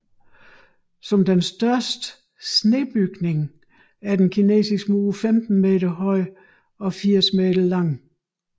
Som den største snebygning er Den Kinesiske Mur 15 meter høj og 80 meter lang